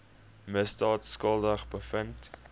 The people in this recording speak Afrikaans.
misdaad skuldig bevind